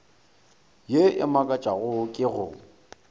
ye e makatšago ke go